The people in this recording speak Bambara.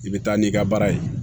I bɛ taa n'i ka baara ye